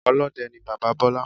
Olóde ni bàbáa Bólá